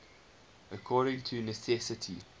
according to necessity